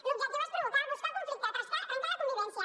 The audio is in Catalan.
l’objectiu és provocar buscar el conflicte trencar la convivència